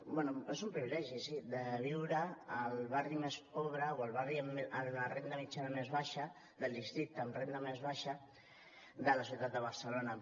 bé és un privilegi sí de viure al barri més pobre o al barri amb la renda mitjana més baixa del districte amb renda més baixa de la ciutat de barcelona